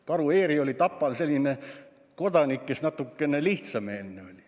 Karu Eeri oli Tapal selline kodanik, kes oli natuke lihtsameelne.